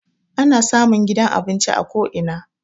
Ana samun gidan abinci a ko ina.